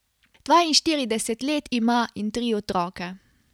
Dvainštirideset let ima in tri otroke.